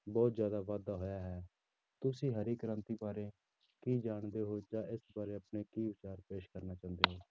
ਬਹੁਤ ਜ਼ਿਆਦਾ ਵਾਧਾ ਹੋਇਆ ਹੈ ਤੁਸੀਂ ਹਰੀ ਕ੍ਰਾਂਤੀ ਬਾਰੇ ਕੀ ਜਾਣਦੇ ਹੋ ਜਾਂ ਇਸ ਬਾਰੇ ਆਪਣੇ ਕੀ ਵਿਚਾਰ ਪੇਸ਼ ਕਰਨਾ ਚਾਹੁੰਦੇ ਹੋ